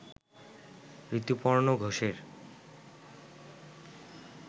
ঋতুপর্ণ ঘোষের